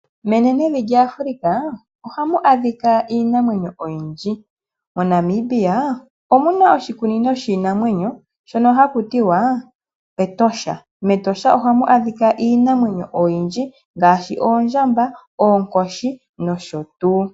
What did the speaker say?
Menenevi Africa ohamu adhika iinimamwenyo oyindji. MoNamibia omuna oshikuunino shiinamwenyo shoka haku tiwa Etosha, metosha ohamu adhika iinamwenyo oyindji ngashi oondjamba, oonkoshi nosho tuu.